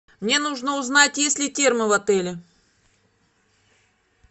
мне нужно узнать есть ли термо в отеле